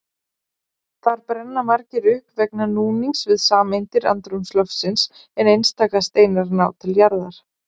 Þar brenna margir upp vegna núnings við sameindir andrúmsloftsins en einstaka steinar ná til jarðar.